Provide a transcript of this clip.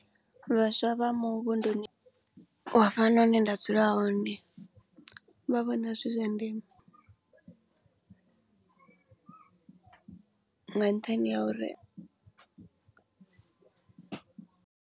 Vhaswa vha muvhunduni wa hafhanoni hune nda dzula hone, vha vhona zwi zwa ndeme nga nṱhani ha uri.